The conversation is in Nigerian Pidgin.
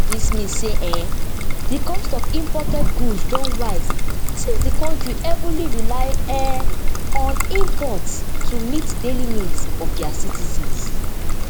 dis mean say um di cost of imported goods don rise since di kontri heavily rely um on imports to meet di daily needs of dia citizens